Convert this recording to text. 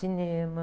Cinema.